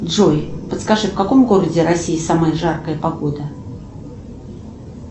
джой подскажи в каком городе россии самая жаркая погода